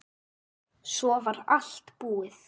Svo var allt búið.